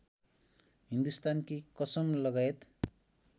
हिन्दुस्तानकी कसम लगायत